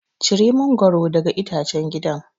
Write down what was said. Cire mangwaro daga itacen gidan.